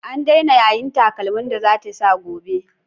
An daina yayin takalman da za ta sa gobe.